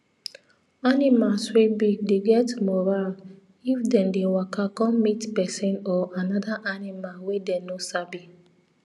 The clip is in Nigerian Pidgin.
animals wey big dey get moral if them dey waka come meet person or another animal wey them no sabi